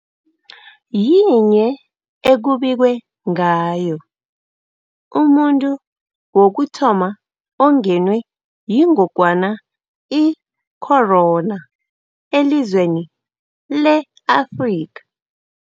yinye ekubikwe ngayo umuntu wokuthoma ongenwe yingogwana i-corona elizweni le-Afrika.